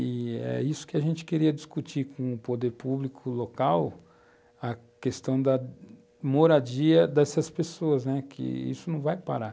E é isso que a gente queria discutir com o poder público local, a questão da moradia dessas pessoas, né? que isso não vai parar.